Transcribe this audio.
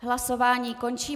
Hlasování končím.